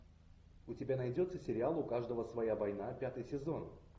у тебя найдется сериал у каждого своя война пятый сезон